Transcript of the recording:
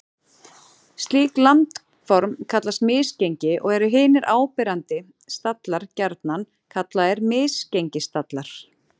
Slík landform kallast misgengi og eru hinir áberandi stallar gjarnan kallaðir misgengisstallar.